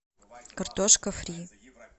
картошка фри